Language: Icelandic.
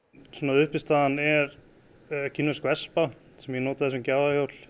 uppistaðan er kínversk vespa sem ég notaði sem